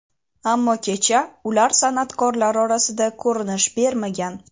ammo kecha ular san’atkorlar orasida ko‘rinish bermagan.